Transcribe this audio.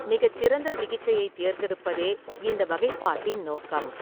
மிகச்சிறந்த சிகிச்சையைத் தேர்ந்தெடுப்பதே இந்த வகைப்பாட்டின் நோக்கம்.